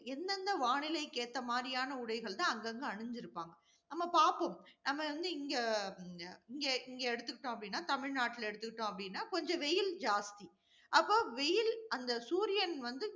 எந்தெந்த வானிலை க்கு ஏற்ற மாதிரியான உடைகள் தான் அங்கங்க அணிந்திருப்பாங்க. நம்ம பார்ப்போம் நம்ம வந்து இங்க~ இங்க இங்க எடுத்துக்கிட்டோம் அப்படின்னா, தமிழ்நாட்டுல எடுத்துக்கிட்டோம் அப்படின்னா, கொஞ்சம் வெயில் ஜாஸ்தி. அப்போ வெயில், அந்த சூரியன் வந்து